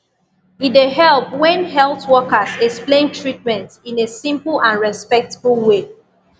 e dey help when health workers explain treatment in a simple and respectful way